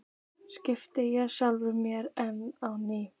spyr ég sjálfan mig enn að nýju.